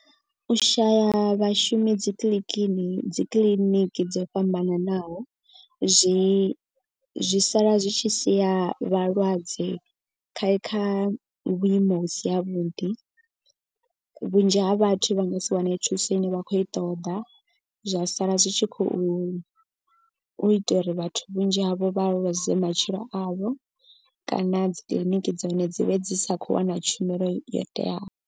U shaya vhashumi dzi kiḽikini dzi kiḽiniki dzo fhambananaho. Zwi zwi sala zwi tshi siya vhalwadze kha kha vhuimo vhusi ha vhuḓi. Vhunzhi ha vhathu vha nga si wane thuso ine vha khou i ṱoḓa. Zwa sala zwi tshi khou u ita uri vhathu vhunzhi havho vha ḽuze matshilo avho. Kana dzi kiḽiniki dza hone dzi vhe dzi sa khou wana tshumelo yo teaho.